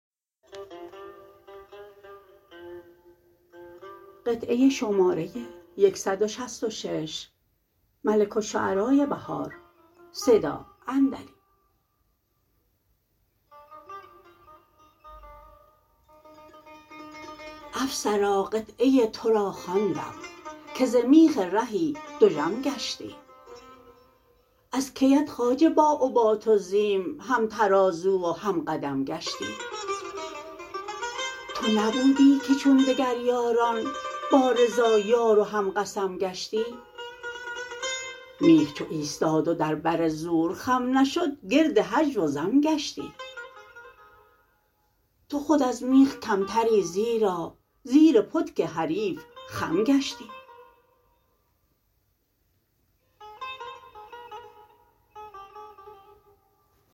افسرا قطعه تو را خواندم که ز میخ رهی دژم گشتی از کی ای خواجه با ا بات الضیم هم ترازو و هم قدم گشتی تو نبودی که چون دگر یاران با رضا یار و هم قسم گشتی میخ چو ایستاد و در بر زور خم نشد گرد هجو و ذم کشتی تو خود از میخ کمتری زیرا زیر پتک حریف خم گشتی